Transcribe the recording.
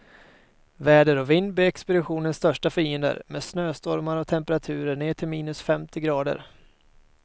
Väder och vind blir expeditionens största fiender, med snöstormar och temperaturer ner till minus femtio grader.